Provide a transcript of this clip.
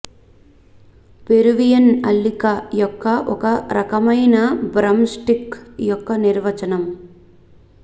Peruvian అల్లిక యొక్క ఒక రకమైన బ్రమ్ స్టిక్ యొక్క నిర్వచనం